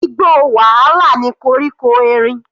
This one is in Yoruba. Igbó wàhálà ni koríko erin.